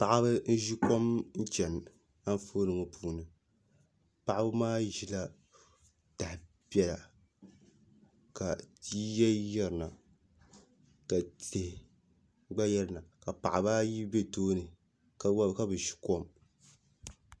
Paɣaba n ʒi kom chɛni Anfooni ŋo puuni paɣaba maa ʒila taha piɛla ka yiya yirina ka tihi gba yirina ka paɣaba ayi bɛ tooni ka bi ʒi kom